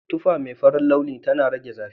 Tufa mai farin launi tana rage zafi.